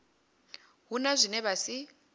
hu na zwine vha si